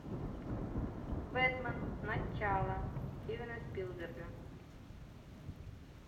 бэтмен начало стивена спилберга